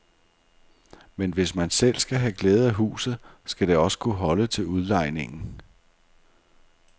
Men hvis man selv skal have glæde af huset, skal det også kunne holde til udlejningen.